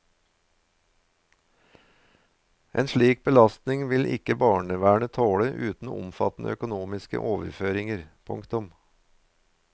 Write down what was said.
En slik belastning vil ikke barnevernet tåle uten omfattende økonomiske overføringer. punktum